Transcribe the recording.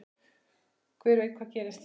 Hver veit hvað gerist?